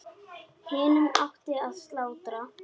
Hinum átti að slátra.